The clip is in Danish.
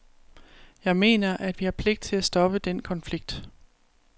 Jeg mener, at vi har pligt til at stoppe den konflikt.